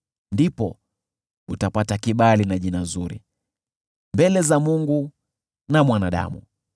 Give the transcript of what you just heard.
Ndipo utapata kibali na jina zuri mbele za Mungu na mwanadamu.